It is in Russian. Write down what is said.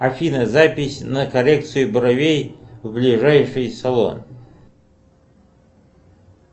афина запись на коррекцию бровей в ближайший салон